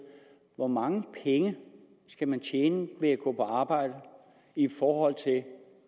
hvor mange penge skal man tjene ved at gå på arbejde i forhold til